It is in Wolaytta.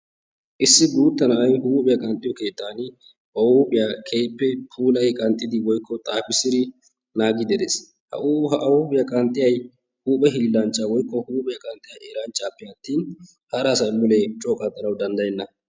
Issi guuttaa na'ay huuphphiya qanxxiyo keettaan ba huuphphiya keehippe puulyi qaxxiidi woykko xaafissidi naagidi dees. A huuphphiya qaxxiyiyi huphphe hiillanchchaa woykko huuphphiya qanxxiya eranchchaappe attin hara asaa mulee coo qanxxanawu danddayeenna.